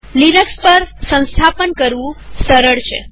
Linux પર સ્થાપન કરવું સૌથી સરળ છે